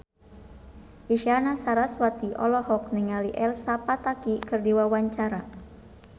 Isyana Sarasvati olohok ningali Elsa Pataky keur diwawancara